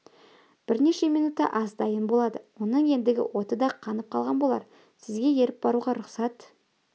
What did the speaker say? бірнеше минутта ас дайын болады оның ендігі оты да қанып қалған болар сізге еріп баруға рұқсат